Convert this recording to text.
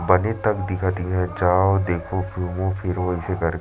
बने तक दिकत हवे जाओ देखो घूमो फिरो ऐसे करके--